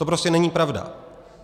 To prostě není pravda.